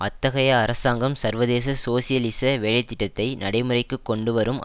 அத்தகைய அரசாங்கம் சர்வதேச சோசியலிச வேலை திட்டத்தை நடைமுறைக்கு கொண்டுவரும்